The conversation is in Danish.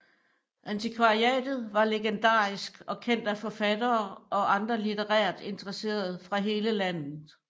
Antikvariatet var legendarisk og kendt af forfattere og andre litterært interesserede fra hele landet